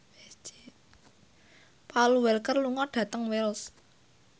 Paul Walker lunga dhateng Wells